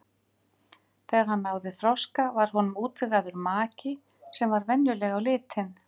Þegar hann náði þroska var honum útvegaður maki sem var venjuleg á litin.